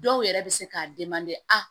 Dɔw yɛrɛ bɛ se k'a a